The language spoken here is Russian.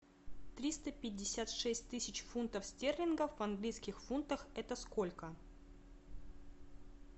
триста пятьдесят шесть тысяч фунтов стерлингов в английских фунтах это сколько